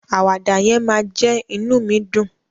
Àwàdà yẹn máa jẹ́ inú mi dùn.